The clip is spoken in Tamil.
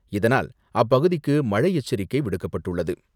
இதனால் அப்பகுதிக்கு மழை எச்சரிக்கை விடுக்கப்பட்டுள்ளது.